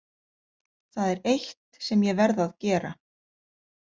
Það er eitt sem ég verð að gera.